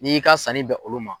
N'i ka sanni bɛn olu ma.